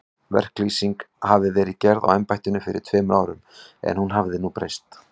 Verklýsing hafi verið gerð á embættinu fyrir tveimur árum, en hún hafi nú breyst.